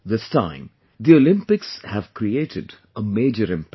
this time, the Olympics have created a major impact